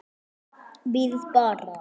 Bíðið bara.